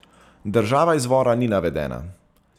Država izvora ni navedena.